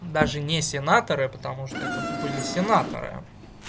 даже не сенаторы потому что это были сенаторы